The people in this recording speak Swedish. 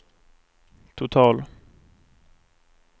total